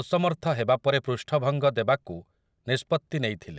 ଅସମର୍ଥ ହେବା ପରେ ପୃଷ୍ଠଭଙ୍ଗ ଦେବାକୁ ନିଷ୍ପତ୍ତି ନେଇଥିଲେ ।